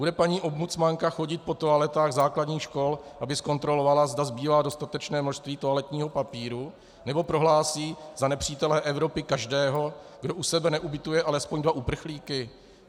Bude paní ombudsmanka chodit po toaletách základních škol, aby zkontrolovala, zda zbývá dostatečné množství toaletního papíru, nebo prohlásí za nepřítele Evropy každého, kdo u sebe neubytuje alespoň dva uprchlíky?